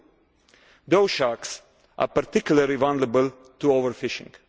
2. Those sharks are particularly vulnerable to overfishing.